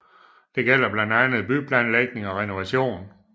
Det gælder blandt andet byplanlægning og renovation